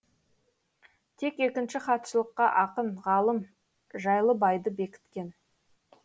тек екінші хатшылыққа ақын ғалым жайлыбайды бекіткен